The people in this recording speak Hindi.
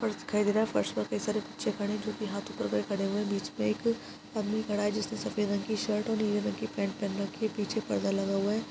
फर्श दिखाई दे रहा है फर्श पर कई सारे बच्चे खड़े है जो की हाथ ऊपर करके खड़े है बीच में एक आदमी खड़ा है जिसने सफ़ेद रंग की शर्ट और नीले रंग की पेंट पहन रखी है पीछे परदा लगा हुआ है।